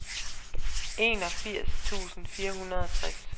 enogfirs tusind fire hundrede og tres